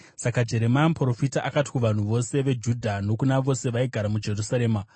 Saka Jeremia muprofita akati kuvanhu vose veJudha nokuna vose vaigara muJerusarema: